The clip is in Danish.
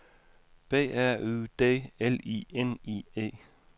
B R U D L I N I E